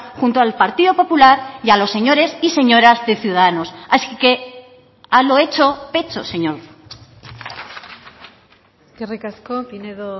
junto al partido popular y a los señores y señoras de ciudadanos así que a lo hecho pecho señor eskerrik asko pinedo